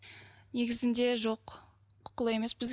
незізінде жоқ құқылы емеспіз